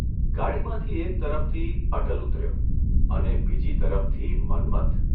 ગાડીમાંથી એક તરફથી અટલ ઊતર્યો અને બીજી તરફથી મન્મથ !